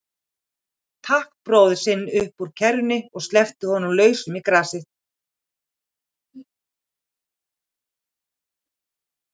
Tók bróður sinn upp úr kerrunni og sleppti honum lausum í grasið.